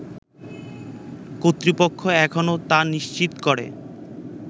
কর্তৃপক্ষ এখনও তা নিশ্চিত করে